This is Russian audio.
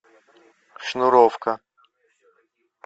шнуровка